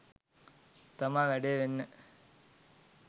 තමා වැඩේ වෙන්නේ